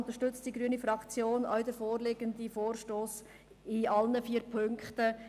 Deshalb unterstützt die grüne Fraktion denn auch den vorliegenden Vorstoss in allen vier Punkten.